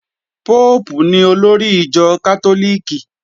Póòpù ni olórí ìjọ Kátólíìkì